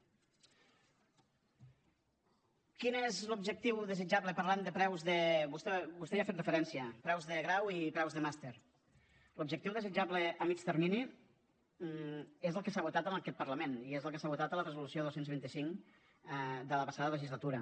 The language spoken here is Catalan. quin és l’objectiu desitjable parlant de preus vostè hi ha fet referència preus de grau i preus de màster l’objectiu desitjable a mitjà termini és el que s’ha votat en aquest parlament i és el que s’ha votat en la resolució dos cents i vint cinc de la passada legislatura